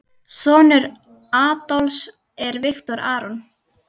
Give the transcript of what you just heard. Sonur Adolfs er Viktor Aron.